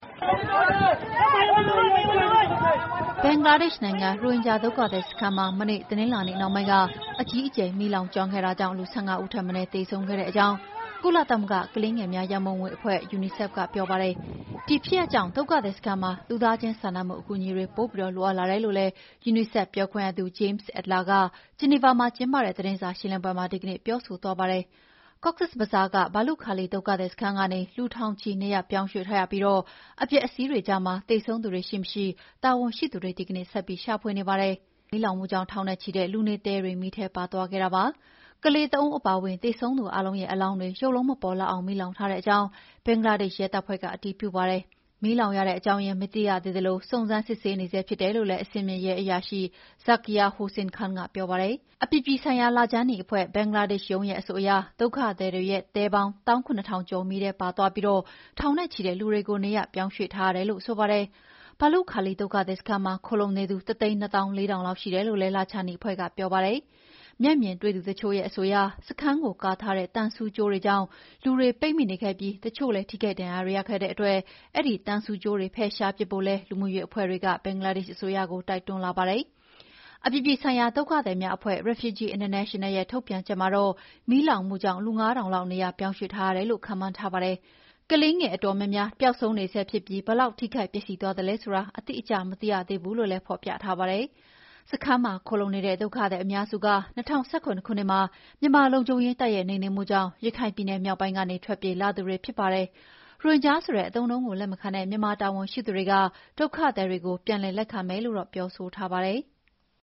ဘင်္ဂလားဒေ့ရှ်နိုင်ငံက ရိုဟင်ဂျာဒုက္ခသည်စခန်းမှာ မနေ့တနင်္လာနေ့က အကြီးအကျယ် မီးလောင်ခဲ့တာကြောင့် လူ ၁၅ ဦးထက်မနည်းသေဆုံးခဲ့ကြောင်း ကုလသမဂ္ဂကလေးငယ်များရံပုံငွေအဖွဲ့ UNICEF ကပြောပါတယ်။ ဒီဖြစ်ရပ်ကြောင့်ဒုက္ခသည်စခန်းမှာ လူသားချင်းစာနာမှု အကူအညီတွေ ပိုပြီး လိုအပ်လာတယ်လို့လည်း UNICEFပြောခွင့်ရသူ James Elder က ဂျနီဗာမှာကျင်းပတဲ့သတင်းစာရှင်းလင်းပွဲမှာ ဒီကနေ့ပြောဆိုသွားပါတယ်။ Cox’s Bazar က ဘာလုခါလီ ဒုက္ခသည်စခန်းကနေ လူထောင်ချီနေရပ်ပြောင်းရွှေ့ထားရပြီး အပျက်အစီးတွေကြားမှာ သေဆုံးသူတွေရှိမရှိ တာဝန်ရှိသူတွေ ဒီကနေ့ဆက်ပြီးရှာဖွေနေပါတယ်။ မီးလောင်မှုကြောင့် ထောင်နဲ့ချီတဲ့ လူနေတဲတွေ မီးထဲပါသွားခဲ့တာပါ။ ကလေး ၃ ဦးအပါအဝင်သေဆုံးသူအားလုံးရဲ့အလောင်းတွေ ရုပ်လုံးမပေါ်လောက်အောင် မီးလောင်ထားကြောင်း ဘင်္ဂလားဒေ့ရှ် ရဲတပ်ဖွဲ့ကအတည်ပြုပါတယ်။ မီးလောင်ရတဲ့အကြောင်းရင်းမသိရသေးသလို စုံစမ်းနေဆဲဖြစ်တယ်လို့လည်း အဆင့်မြင့်ရဲအရာရှိ Zakir Hossain Khan ကပြောပါတယ်။ အပြည်ပြည်ဆိုင်ရာလခြမ်းနီအဖွဲ့၊ ဘင်္ဂလားဒေ့ရှ်ရုံးရဲ့အဆိုအရ ဒုက္ခသည်တွေရဲ့တဲပေါင်း ၁၇,၀၀၀ ကျော်မီးထဲပါသွားပြီး ထောင်နဲ့ချီတဲ့လူတွေကို နေရာပြောင်းရွှေ့ထားရတယ်လို့ဆိုပါတယ်။ ဘာလုခါလီဒုက္ခသည် စခန်းမှာခိုလှုံနေသူ ၁၂၄,၀၀၀ လောက်ရှိတယ်လို့လည်း လခြမ်းနီအဖွဲ့ကပြောပါတယ်။ မျက်မြင်တွေ့သူတချို့ရဲ့အဆိုအရ စခန်းကို ကာထားတဲ့သံဆူးကြိုးတွေကြောင့် လူတွေပိတ်မိနေခဲ့ပြီး တချို့လည်း ထိခိုက်ဒဏ်ရာတွေရခဲ့ကြတဲ့အတွက် သံဆူးကြိုးတွေ ဖယ်ရှားပစ်ဖို့လည်း လူမှုရေးအဖွ့ဲတွေက ဘင်္ဂလားဒေ့ရှ်အစိုးရကို တိုတွန်းလာကြပါတယ်။ အပြည်ပြည်ဆိုင်ရာဒုက္ခသည်များအဖွဲ့ Refugee International ရဲ့ထုတ်ပြန်ချက်မှာတော့ မီးလောင်မှုကြောင့် လူ ၅,၀၀၀ လောက် နေရာပြောင်းရွှေ့ပေးထားရတယ်လို့ ခန့်မှန်းထားပါတယ်။ ကလေးငယ်အတော်များများ ပျောက်ဆုံးနေဆဲဖြစ်ပြီး ဘယ်လောက်ထိခိုက်ပျက်စီးသွားသလဲဆိုတာ အတိအကျမသိနိုင်သေးဘူးလို့ ဖော်ပြထားပါတယ်။ စခန်းမှာ ခိုလှုံနေတဲ့ဒုက္ခသည်အများစုက ၂၀၁၇ ခုနှစ်မှာ မြန်မာလုံခြုံရေးတပ်ရဲ့နှိမ်နင်းမှုကြောင့် ရခိုင်ပြည်နယ်မြောက်ပိုင်းကနေ ထွက်ပြေးလာသူတွေဖြစ်ပါတယ်။ ရိုဟင်ဂျာဆိုတဲ့အသုံးကို လက်မခံတဲ့ မြန်မာတာဝန်ရှိသူတွေက ဒုက္ခသည်တွေကို ပြန်လည် လက်ခံမယ်လို့တော့ ပြောဆိုထားပါတယ်။